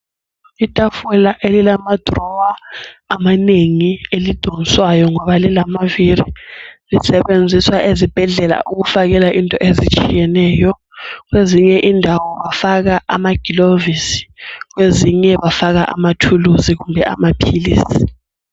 Itafula elilama dirowa amanengi elidonswayo ngoba lilamaviri. Lisetshenziswa ezibhedlela ukufakela into ezitshiyeneyo kwezinye indawo bafaka amagilovisi kwezinye bafaka amathulusi kumbe amaphilisi.